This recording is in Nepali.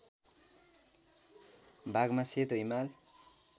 भागमा सेतो हिमाल